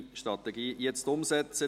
Energiestrategie jetzt umsetzen!»